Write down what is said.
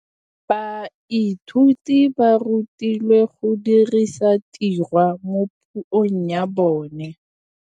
Baithuti ba rutilwe go dirisa tirwa mo puong ya bone.